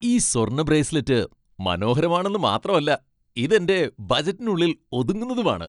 ഈ സ്വർണ്ണ ബ്രേസ്ലെറ്റ് മനോഹരമാണെന്ന് മാത്രമല്ല, ഇത് എന്റെ ബജറ്റിനുള്ളിൽ ഒതുങ്ങുന്നതുമാണ് .